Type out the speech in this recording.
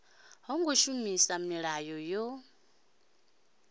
ho ngo shumisa milayo yo